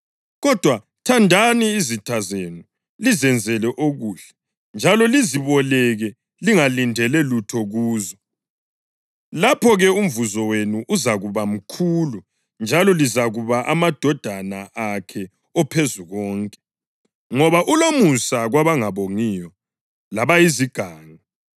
Kodwa thandani izitha zenu, lizenzele okuhle, njalo lizeboleke lingalindeli lutho kuzo. Lapho-ke umvuzo wenu uzakuba mkhulu, njalo lizakuba ngamadodana akhe oPhezukonke, ngoba ulomusa kwabangabongiyo labayizigangi.